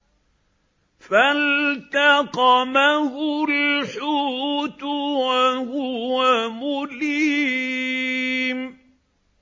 فَالْتَقَمَهُ الْحُوتُ وَهُوَ مُلِيمٌ